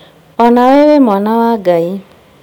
O nawe wĩ mwana wa Ngai